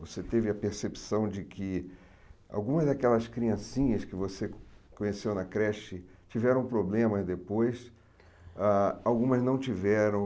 Você teve a percepção de que algumas daquelas criancinhas que você conheceu na creche tiveram problemas depois, ah algumas não tiveram...